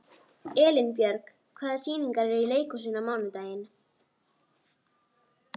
Elínbjörg, hvaða sýningar eru í leikhúsinu á mánudaginn?